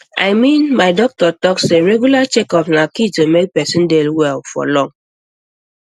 i mean my doctor talk say regular checkups na key to make person dey well for long